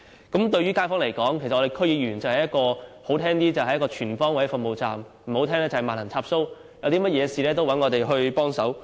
區議員對於街坊而言，說得好聽點是"全方位服務站"，說得難聽點就是"萬能插蘇"，所有事情也會找我們幫忙。